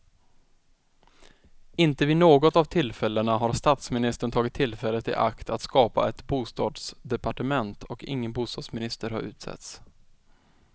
Inte vid något av tillfällena har statsministern tagit tillfället i akt att skapa ett bostadsdepartement och ingen bostadsminister har utsetts.